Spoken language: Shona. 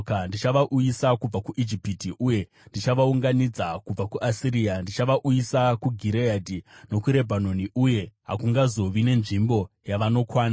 Ndichavauyisa kubva kuIjipiti uye ndichavaunganidza kubva kuAsiria. Ndichavauyisa kuGireadhi nokuRebhanoni, uye hakungazovi nenzvimbo yavanokwana.